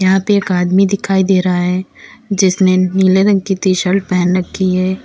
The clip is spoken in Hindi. यहां पे एक आदमी दिखाई दे रहा है जिसने नीले रंग की टी शर्ट पहन रखी है।